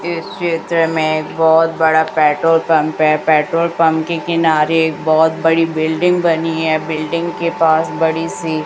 इस चित्र में बहोत बड़ा पेट्रोल पंप हैं पेट्रोल पंप के किनारे बहोत बड़ी बिल्डिंग बनी है बिल्डिंग के पास बड़ी सी--